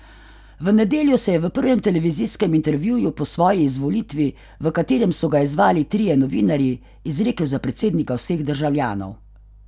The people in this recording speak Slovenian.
V nedeljo se je v prvem televizijskem intervjuju po svoji izvolitvi, v katerem so ga izzvali trije novinarji, izrekel za predsednika vseh državljanov.